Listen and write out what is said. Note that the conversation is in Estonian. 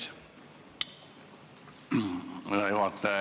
Hea juhataja!